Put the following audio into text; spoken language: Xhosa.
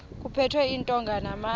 kuphethwe iintonga namatye